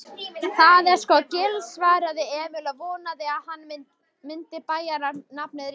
Það, það er sko Gil svaraði Emil og vonaði að hann myndi bæjarnafnið rétt.